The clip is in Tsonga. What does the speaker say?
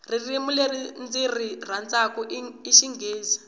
ririmi leri ndziri rhandzaku i xinghezi